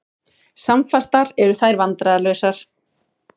Samfastar eru þær vandræðalausar.